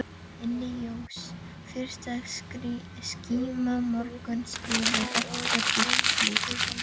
Inni jós fyrsta skíma morguns yfir okkur gylltu bliki.